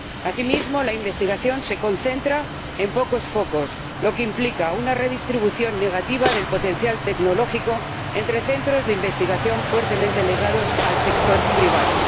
Asimismo, la investigación se concentra en pocos focos, lo que implica una redistribución negativa del potencial tecnológico entre centros de investigación fuertemente ligados al sector privado.